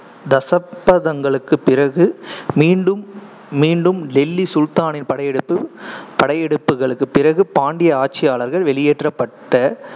தசப்தங்களுக்குப் பிறகு, மீண்டும் மீண்டும் டெல்லி சுல்தானின் படையெடுப்பு~ படையெடுப்புகளுக்குப் பிறகு பாண்டிய ஆட்சியாளர்கள் வெளியேற்றப்பட்ட